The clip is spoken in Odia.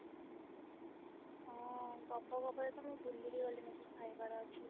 ହଁ ଗପ ଗପ ରେ ତ ମୁଁ ଭୁଲି ଗଲିଣି କି ଖାଇବାର ଅଛି